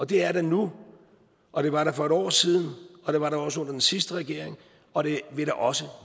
det er der nu og det var der for et år siden og det var der også under den sidste regering og det vil der også